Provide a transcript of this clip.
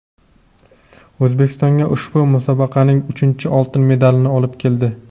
O‘zbekistonga ushbu musobaqaning uchinchi oltin medalini olib keldi.